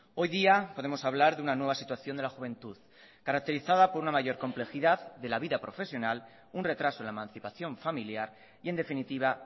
hoy día podemos hablar de una nueva situación de la juventud caracterizada por una mayor complejidad de la vida profesional un retraso en la emancipación familiar y en definitiva